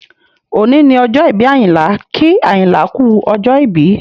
Òní ni ọjọ́ ìbí Ayinla, kí Ayinla kú ọjọ́ ìbí